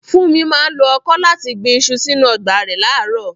Funmi máa ń lo ọkọ́ láti gbin iṣu sínú ọgbà rẹ̀ láàárọ̀.